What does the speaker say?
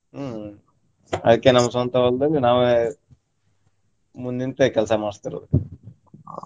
ಹ್ಮ್ ಅದ್ಕೆ ನಮ್ಮ್ ಸ್ವಂತ ಹೊಲ್ದಲ್ಲಿ ನಾವೇ ಮುಂದ್ ನಿಂತೆ ಕೆಲ್ಸಾ ಮಾಡಸ್ತಿರೋದು.